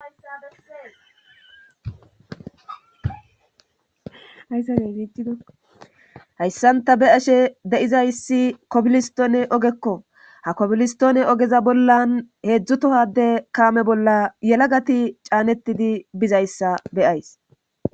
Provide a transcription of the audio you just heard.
ayssae iitido hayssanta be ashe de7izayssi kopilistoone ogekko ha kopilistoone ogeza bollan heedzdzu tohadde kaame bolla yela gati caanettidi bizayssa beyays